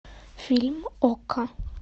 фильм окко